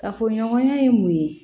Kafoɲɔgɔnya ye mun ye